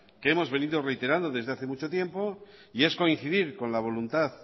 hemos venido reiterando desde hace mucho tiempo y es coincidir con la voluntad